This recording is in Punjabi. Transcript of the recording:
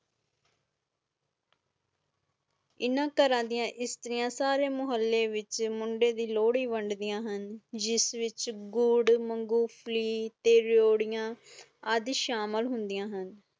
ਇੰਨਾ ਕਰ ਦੀਆਂ ਸਤਰੀਆਂ ਮੋਹਾਲੀ ਵਿਚ ਮੁੰਡੇ ਦੀ ਲੋਹੜੀ ਵੰਡਦਿਆਂ ਹੁਣ ਜਿਸ ਵਿਚ ਗੁੜ ਮੂੰਗਫਲੀ ਤੇ ਰਯੋਦਿਆਂ ਆਦਿ ਸ਼ਾਮਿਲ ਹੁੰਦੀਆਂ ਹੁਣ